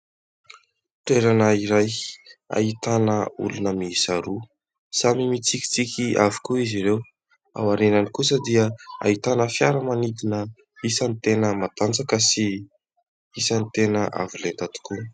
Toerana iray ahitana olona miisa roa. Samy mitsikitsiky avokoa izy ireo. Ao aorinany kosa dia ahitana fiaramanidina isany tena matanjaka sy isany tena avo lenta tokoa.